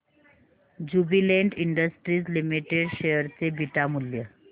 Jubilant Industries Limited share चे beta मूल्य